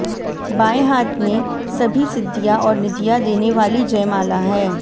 बायें हाथ में सभी सिद्धियां और निधियां देने वाली जयमाला है